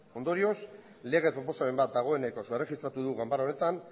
ondorioz lege proposamen bat dagoenekoz erregistratu du ganbara honetan